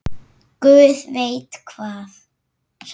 Guð veit hvað!